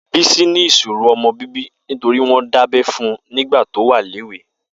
Bisi ni iṣóró ọmọ bibi nitóri wọn dábẹ̀ fún nigbà tó wà léwé